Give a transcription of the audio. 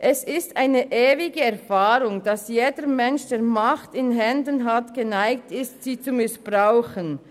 «Es ist eine ewige Erfahrung, dass jeder Mensch, der Macht in Händen hat, geneigt ist, sie zu missbrauchen.